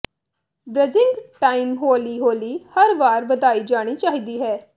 ਬ੍ਰਜਿੰਗ time ਹੌਲੀ ਹੌਲੀ ਹਰ ਵਾਰ ਵਧਾਈ ਜਾਣੀ ਚਾਹੀਦੀ ਹੈ